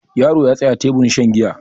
yaro ya tsaya teburin shan giya